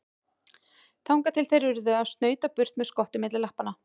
Þangað til þeir urðu að snauta burt með skottið milli lappanna.